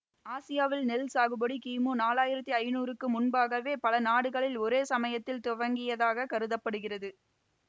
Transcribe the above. ஆசியாவில் நெல் சாகுபடி கிமு நாலாயிரத்தி ஐநூறுக்கு முன்பாகவே பல நாடுகளில் ஒரே சமயத்தில் துவங்கியதாகக் கருத படுகிறது